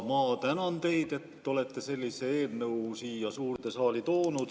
Ma tänan teid, et te olete sellise eelnõu siia suurde saali toonud.